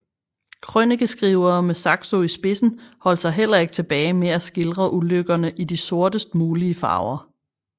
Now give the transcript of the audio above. Krønikeskrivere med Saxo i spidsen holdt sig heller ikke tilbage med at skildre ulykkerne i de sortest mulige farver